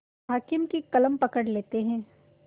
हाकिम की कलम पकड़ लेते हैं